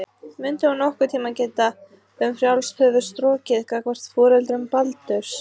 Mundi hún nokkurn tíma geta um frjálst höfuð strokið gagnvart foreldrum Baldurs?